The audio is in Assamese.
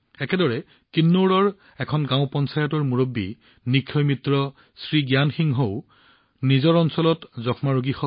একেদৰে কিন্নাউৰৰ এখন গাঁও পঞ্চায়তৰ মুৰব্বী নিক্ষয় মিত্ৰ শ্ৰী জ্ঞান সিংহৰো নিজৰ ব্লকত যক্ষ্মা ৰোগী আছে